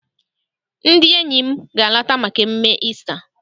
Ndị enyi m ga- alata maka emume Isita.